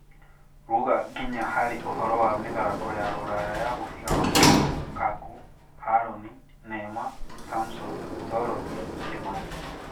Ruga nginya harĩ ũhoro wa mĩthako ya Rũraya ya mũbira wa magũrũ Kaku, Haroni, Neema, samson, Dorothi, Kimani